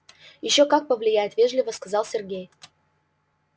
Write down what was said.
ещё как повлияет вежливо сказал сергей